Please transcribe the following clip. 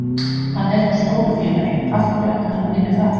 Hann er hjá stóru félagi, af hverju ætti hann að vilja fara?